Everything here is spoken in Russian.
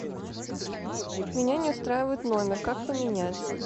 меня не устраивает номер как поменять